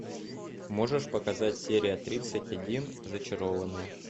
можешь показать серия тридцать один зачарованные